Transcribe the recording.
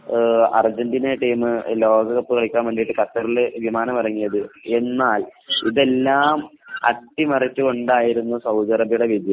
Argentina team ലോകകപ്പ് കളിക്കാൻവേണ്ടി ഖത്തറിൽ വിമാനം ഇറങ്ങിയത് . എന്നാൽ എല്ലാം അട്ടിമറിച്ചു കൊണ്ടായിരുന്നു സൗദി അറേബിയയുടെ വിജയം